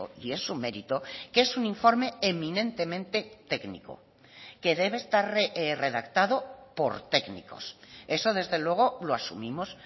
y es un mérito que es un informe eminentemente técnico que debe estar redactado por técnicos eso desde luego lo asumimos